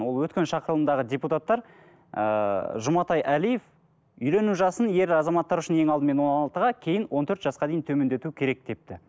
ол өткен шақырылымдағы депутаттар ыыы жұматай әлиев үйлену жасын ер азаматтар үшін ең алдымен он алтыға кейін он төрт жасқа дейін төмендету керек депті